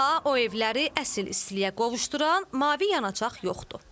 Amma o evləri əsl istiliyə qovuşduran mavi yanacaq yoxdur.